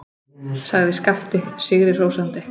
sagði Skapti sigri hrósandi.